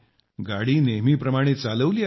गाडी नेहमीप्रमाणे चालवली आहे